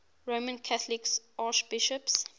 roman catholic archbishops